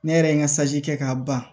Ne yɛrɛ ye n ka kɛ k'a ban